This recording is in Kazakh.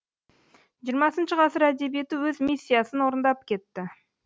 хх ғасыр әдебиеті өз миссиясын орындап кетті